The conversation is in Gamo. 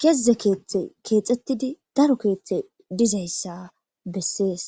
keze keeththe keexxettidi daro keeththe dizayssa bessees.